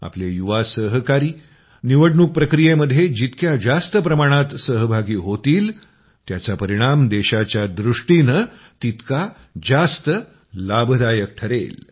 आपले युवा सहकारी निवडणूक प्रक्रियेमध्ये जितक्या जास्त प्रमाणात सहभागी होतील त्याचा परिणाम देशाच्या दृष्टीनं तितका जास्त लाभदायक ठरेल